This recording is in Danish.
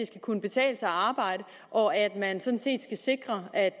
skal kunne betale sig at arbejde og at man sådan set skal sikre at